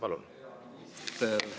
Palun!